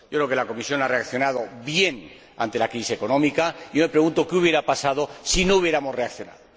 Creo que la Comisión ha reaccionado bien ante la crisis económica me pregunto qué habría pasado si no hubiéramos reaccionado.